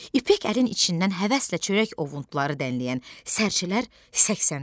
İpək əlin içindən həvəslə çörək ovuntuları dənləyən sərçələr səksəndilər.